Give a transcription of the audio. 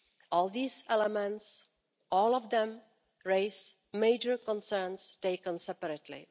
All these elements, all of them, raise major concerns taken separately.